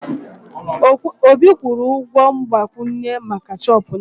Obi kwụrụ ụgwọ mgbazinye maka shọọpụ nne m